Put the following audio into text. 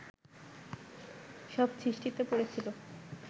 সব সৃষ্টিতে পড়েছিল